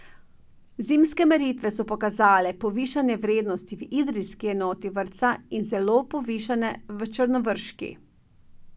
Zimske meritve so pokazale povišane vrednosti v idrijski enoti vrtca in zelo povišane v črnovrški.